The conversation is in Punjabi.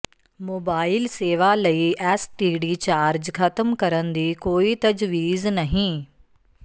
ਮੋਬਾਈਲ ਸੇਵਾ ਲਈ ਐਸਟੀਡੀ ਚਾਰਜ ਖਤਮ ਕਰਨ ਦੀ ਕੋਈ ਤਜਵੀਜ਼ ਨਹੀਂ